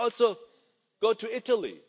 You could also go to Italy.